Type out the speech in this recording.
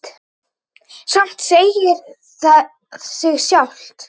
Samt segir það sig sjálft.